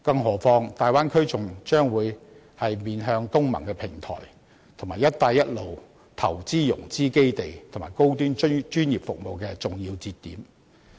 何況，大灣區將會面向東盟的平台，以及"一帶一路"投資融資基地和高端專業服務的重要節點。